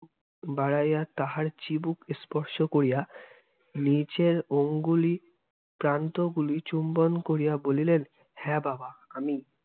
হাত বাড়াইয়া তাঁহার চিবুক স্পর্শ করিয়া নিচের ওঙ্গুলির প্রান্তগুলি চুম্বন করিয়া বলিলেন, হ্যাঁ বাবা, আমিই।